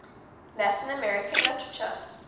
latin american literature